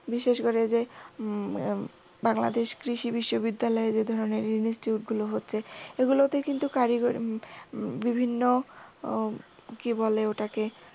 বিশেষ করে যে বাংলাদেশ কৃষি বিশ্ববিদ্যালয় যে ধরনের institute গুলো হচ্ছে এগুলোতে কিন্তু কারিগরি বিভিন্ন কি বলে ওটাকে